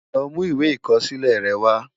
Lò mú iwé ikòsilè rè wá